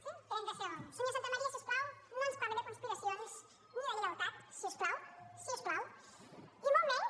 sí senyor santamaría si us plau no ens parli de conspiracions ni de lleialtat si us plau si us plau i molt menys